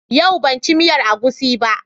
Yau ban ci miyar agushi ba.